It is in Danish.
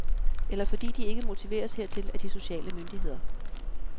Eller fordi de ikke motiveres hertil af de sociale myndigheder.